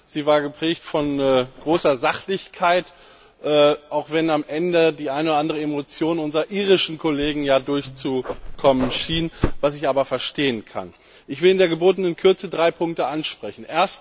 Sie war geprägt von großer Sachlichkeit, auch wenn am Ende die eine oder andere Emotion unserer irischen Kollegen durchschien, was ich aber verstehen kann. Ich will in der gebotenen Kürze drei Punkte ansprechen.